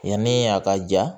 Yani a ka ja